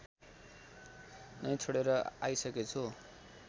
नै छोडेर आइसकेछु